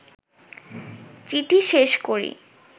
চিঠি শেষ করি